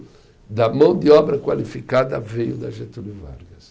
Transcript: Da mão de obra qualificada veio da Getúlio Vargas.